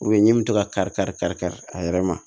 ɲɛɲini bɛ to ka kari kari kari kari a yɛrɛ ma